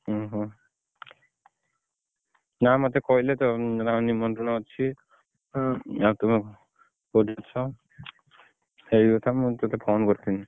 ଓହୋ ଯାହଉ ମତେ କହିଲେ ତ ନିମନ୍ତ୍ରଣ ଅଛି ସେଇ କଥା ମୁଁ ତତେ phone କରିଥିଲି।